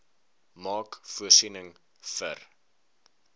maak voorsiening vir